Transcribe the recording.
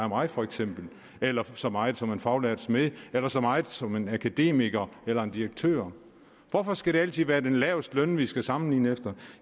mig for eksempel eller så meget som en faglært smed eller så meget som en akademiker eller en direktør hvorfor skal det altid være den lavestlønnede vi skal sammenligne med